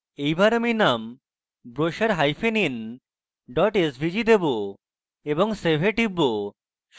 এইবার আমি name brochurein svg দেবো এবং save এ টিপব